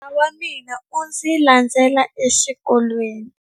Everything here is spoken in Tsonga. Nala wa mina u ndzi landzile exikolweni.